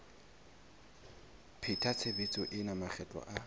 pheta tshebetso ena makgetlo a